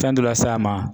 Fɛn dɔ la s'a ma